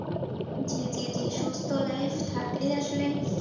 জি জি সুস্থ life থাকলে আসলে